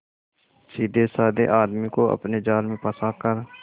सीधेसाधे आदमी को अपने जाल में फंसा कर